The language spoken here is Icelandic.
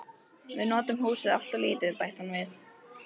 Við notum húsið alltof lítið, bætti hann við.